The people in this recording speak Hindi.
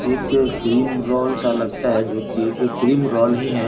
एक क्रीम रोल सा लगता है जो की क्रीम रोल ही है।